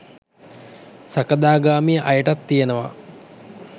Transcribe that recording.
සකදාගාමී අයටත් තියෙනවා.